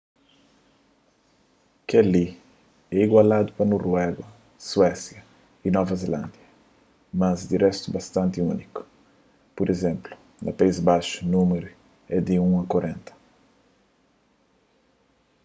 kel-li é igualadu pa noruega suésia y nova zelándia mas di réstu bastanti úniku pur izénplu na país baxu númeru édi un a korenta